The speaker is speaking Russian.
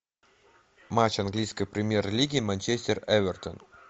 матч английской премьер лиги манчестер эвертон